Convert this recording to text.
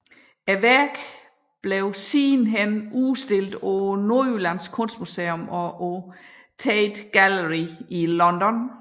Værket blev siden udstillet på Nordjyllands Kunstmuseum og på Tate Gallery i London